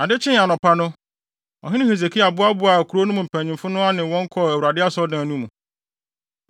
Ade kyee anɔpahema no, ɔhene Hesekia boaboaa kurow no mpanyimfo ano ne wɔn kɔɔ Awurade Asɔredan no mu.